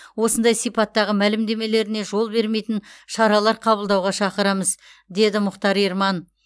осындай сипаттағы мәлімдемелеріне жол бермейтін шаралар қабылдауға шақырамыз деді мұхтар ерман